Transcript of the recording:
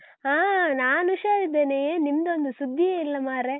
ಹಾ, ನಾನ್ ಹುಷಾರಿದ್ದೇನೆ. ಏನ್ ನಿಮ್ದೊಂದು ಸುದ್ದಿಯೇ ಇಲ್ಲ ಮಾರ್ರೆ.